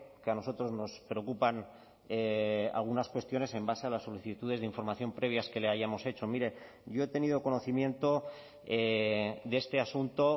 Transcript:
que a nosotros nos preocupan algunas cuestiones en base a las solicitudes de información previas que le hayamos hecho mire yo he tenido conocimiento de este asunto